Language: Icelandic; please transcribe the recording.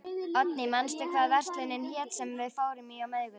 Oddný, manstu hvað verslunin hét sem við fórum í á miðvikudaginn?